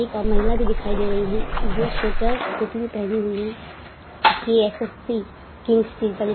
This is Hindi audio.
एक अ महिला भी दिखाई दे रही है जो स्वेटर टोपी भी पहनी हुई है। K S F E kings pizza ली --